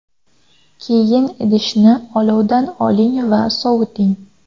Keyin idishni olovdan oling va soviting.